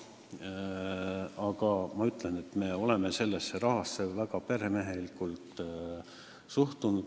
Aga me oleme sellesse rahasse väga peremehelikult suhtunud.